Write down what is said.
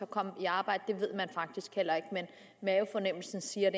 komme i arbejde det ved man faktisk heller ikke men mavefornemmelsen siger